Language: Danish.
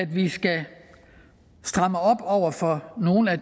vi skal stramme op over for nogle af